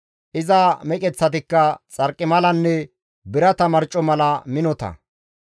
Iza meqeththatikka xarqimalanne birata marco mala minota.